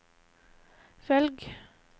velg